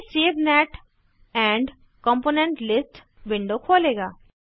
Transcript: यह save net and component list window खोलेगा